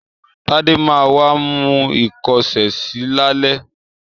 Tádé ma wá mú ìkọ́ṣẹsì lálẹ́.